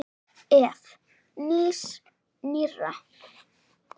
Ef. nýs- nýrra